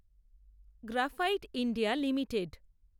graphite India limited